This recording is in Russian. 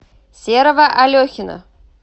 серого алехина